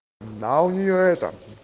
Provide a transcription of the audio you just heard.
да у нее это